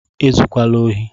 E zukwala ohi!